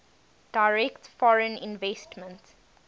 direct foreign investment